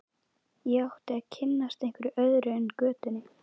Ég átti að kynnast einhverju öðru en götunni.